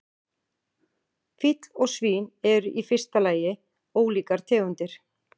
Fíll og svín eru í fyrsta lagi ólíkar tegundir.